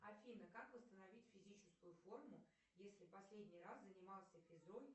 афина как восстановить физическую форму если последний раз занимался физрой